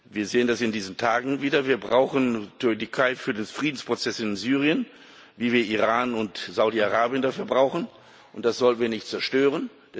Wir sehen das in diesen Tagen wieder. Wir brauchen die Türkei für den Friedensprozess in Syrien, wie wir Iran und Saudi-Arabien dafür brauchen, und das sollten wir nicht zerstören.